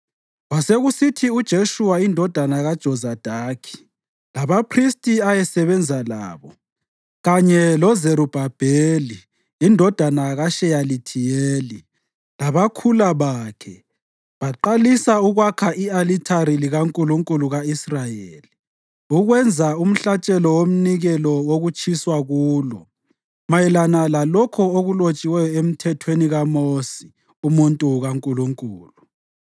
Kwasekusithi uJeshuwa indodana kaJozadaki labaphristi ayesebenza labo kanye loZerubhabheli indodana kaSheyalithiyeli labakhula bakhe baqalisa ukwakha i-alithari likaNkulunkulu ka-Israyeli ukwenza umhlatshelo womnikelo wokutshiswa kulo, mayelana lalokho okulotshiweyo eMthethweni kaMosi umuntu kaNkulunkulu.